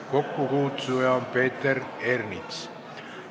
Kokkukutsuja on Peeter Ernits.